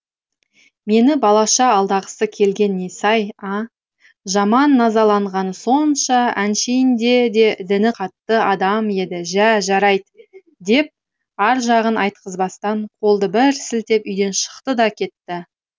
мені балаша алдағысы келгені несі ай а жаман назаланғаны сонша әншейінде де діні қатты адам еді жә жарайд деп аржағын айтқызбастан қолды бір сілтеп үйден шықты да кетті